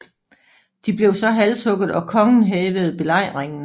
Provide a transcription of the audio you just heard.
De blev så halshugget og kongen hævede belejringen